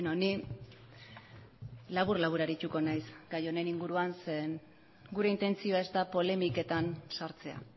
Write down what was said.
ni labur labur arituko naiz gai honen inguruan zeren eta gure intentzioa ez da polemiketan sartzea